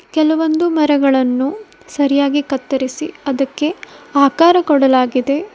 ಕೆಲವೊಂದು ಮರಗಳನ್ನು ಸರಿಯಾಗಿ ಕತ್ತರಿಸಿ ಅದಕ್ಕೆ ಆಕಾರ ಕೊಡಲಾಗಿದೆ.